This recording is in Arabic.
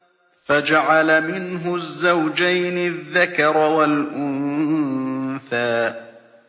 فَجَعَلَ مِنْهُ الزَّوْجَيْنِ الذَّكَرَ وَالْأُنثَىٰ